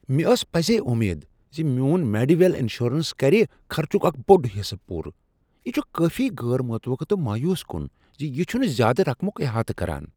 مےٚ ٲس پزی امید ز میون میڈی ویل انشورنس کرِ خرچک اکھ بوٚڑ حصہٕ پورٕ۔ یہ چھ کٲفی غیر متوقع تہٕ مایوس کن ز یہ چھٗنہٕ زیادٕ رقمٗک احاطہٕ کران۔